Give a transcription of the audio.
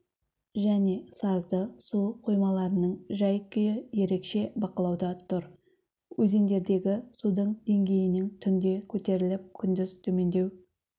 және сазды су қоймаларының жай-күйі ерекше бақылауда тұр өзендердегі судың деңгейінің түнде көтеріліп күндіз төмендеу